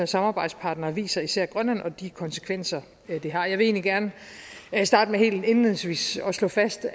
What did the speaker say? samarbejdspartnere viser især grønland og de konsekvenser det har jeg vil gerne starte med helt indledningsvis at slå fast